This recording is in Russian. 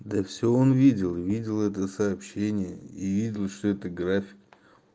да все он видел видел это сообщение и видел что это график